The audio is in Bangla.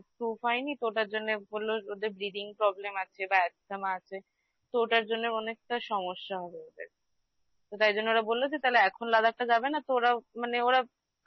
proof হয়নি তো ওটার জন্য বলল ওদের breathing problem আছে বা asthma আছে তো ওটার জন্য অনেকটা সমস্যা হবে ওদের তো তাই জন্য ওরা বলল যে তাহলে এখন Ladakh টা যাবে না তো ওরা মানে ওরা